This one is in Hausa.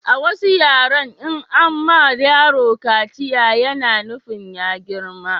A wasu yaren in an ma yaro kaciya ya na nufin ya girma